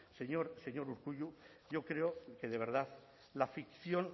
señor urkullu yo creo que de verdad la ficción